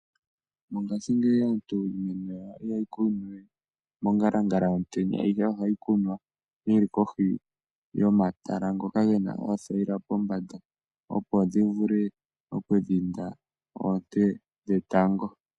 Mongashingeyi aantu iimeno yawo ihaye yi kunu we mongalangala yomutenya ihe ohayi kunwa yili kohi yomatala ngoka gena oothayila pombanda opo dhivule okudhinda oonte dhetango.